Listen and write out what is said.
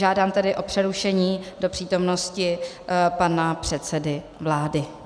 Žádám tedy o přerušení do přítomnosti pana předsedy vlády.